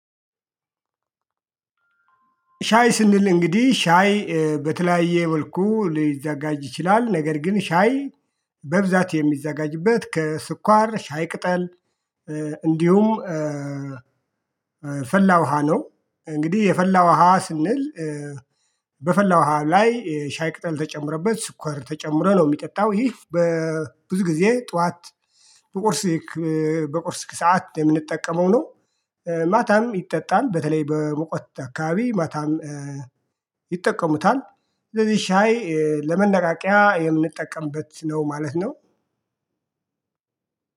ሻይ ስንል እንግዲህ ሻይ በተለያየ መልኩ ሊዘጋጅ ይችላል ነገር ግን ሻይ በብዛት የሚዘጋጅበት ከስኳር ሻይ ቅጠል እንዲሁም ፈላ ውሃ ነው። እንግዲህ የፈላ ውሃ ስንል። በፈላ ውሃ ላይ ሻይ ቅጠል ተጨምሮበት ስኳር ተጨምረው የሚጠጣው ይህ በብዙ ጊዜ ጠዋት በቁርስ በቁርስ ሰዓት የምንጠቀመው ነው። ማታም ይጠጣል በተለይ በሙቀት አካባቢ ማታም ይጠቀሙታል። ስለዚህ ሻይ ለመነቃቂያ የምንጠቀምበት ነው ማለት ነው።